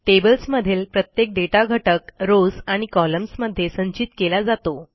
टेबल्समधील प्रत्येक दाता घटक रॉव्स आणि कॉलम्न्स मध्ये संचित केला जातो